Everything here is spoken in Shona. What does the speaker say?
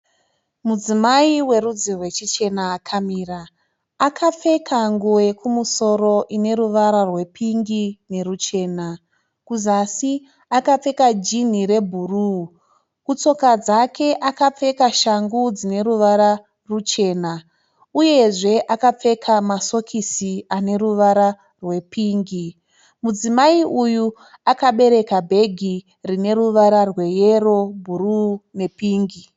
Mudzimai werudzi rwechichena akamira. Akapfeka nguwo yekumusoro ine ruvara rwepingi neruchena. Kuzasi akapfeka jinhi rebhuru. Kutsoka dzake akapfeka shangu dzine ruvara ruchena uyezve akapfeka masokisi ane ruvara rwepingi. Mudzimai uyu akabereka bhegi rine ruvara rweyero, bhuru nepingi.